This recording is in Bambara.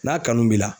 N'a kanu b'i la